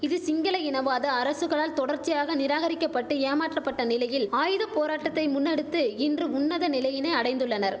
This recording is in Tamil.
இது சிங்கள இனவாத அரசுகளால் தொடர்ச்சியாக நிராகரிக்கபட்டு ஏமாற்றபட்ட நிலையில் ஆயுத போராட்டத்தை முன்னெடுத்து இன்று உன்னத நிலையினை அடைந்துள்ளனர்